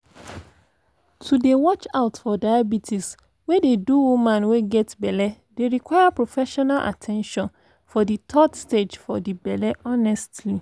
to dey watch out for diabetes wey dey do woman wey get belle dey require professional at ten tion for de third stage for de belle honestly